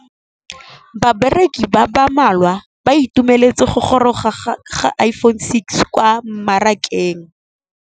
Bareki ba ba malwa ba ituemeletse go gôrôga ga Iphone6 kwa mmarakeng.